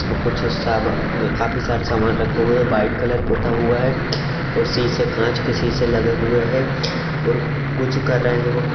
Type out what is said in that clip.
कुछ अ सबा काफी सारे सामान रखा हुआ है। वाइट कलर पुता हुआ है और सीसे कांच के सीसे लगे हुए है और कुछ कर रहे है वो |